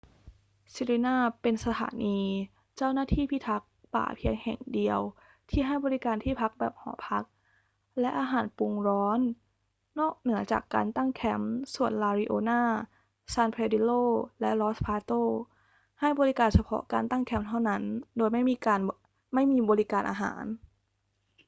sirena เป็นสถานีเจ้าหน้าที่พิทักษ์ป่าเพียงแห่งเดียวที่ให้บริการที่พักแบบหอพักและอาหารปรุงร้อนนอกเหนือจากการตั้งแคมป์ ส่วน la leona san pedrillo และ los patos ให้บริการเฉพาะการตั้งแคมป์เท่านั้นโดยไม่มีบริการอาหาร